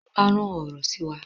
Oba rán ọrọ sí wa